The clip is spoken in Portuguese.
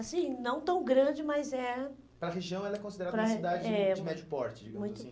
Assim, não tão grande, mas é... Para a região, ela é considerada, é, uma cidade de médio porte, digamos assim?